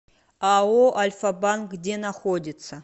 ао альфа банк где находится